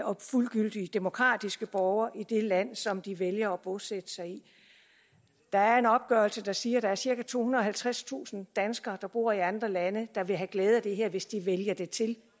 og fuldgyldige demokratiske borgere i det land som de vælger at bosætte sig i der er en opgørelse der siger at der er cirka tohundrede og halvtredstusind danskere der bor i andre lande der vil have glæde af det her hvis de vælger det til det